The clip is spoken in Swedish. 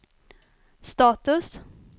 status